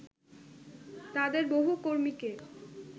তাদের বহু কর্মীকে